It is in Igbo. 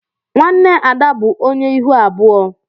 Nwanne Ada bụ onye ihu abụọ.